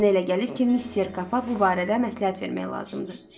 Mənə elə gəlir ki, missisekapa bu barədə məsləhət vermək lazımdır.